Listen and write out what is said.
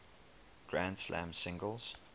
grand slam singles